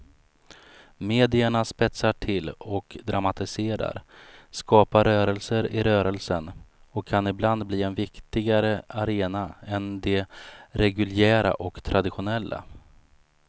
Medierna spetsar till och dramatiserar, skapar rörelser i rörelsen och kan ibland bli en viktigare arena än de reguljära och traditionella.